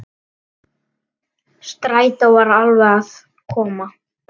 Strætó var alveg að koma.